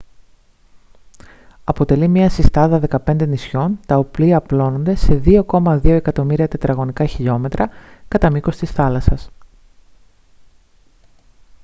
αποτελεί μια συστάδα 15 νησιών τα οποία απλώνονται σε 2,2 εκατομμύρια τετραγωνικά χιλιόμετρα κατά μήκος της θάλασσας